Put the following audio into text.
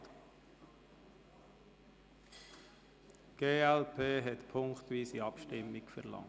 –Die glp hat punktweise Abstimmung verlangt.